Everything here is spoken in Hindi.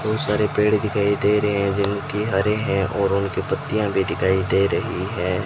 बहुत सारे पेड़ दिखाई दे रहे हैं जिनके हरे हैं और उनकी पत्तियां भी दिखाई दे रही हैं।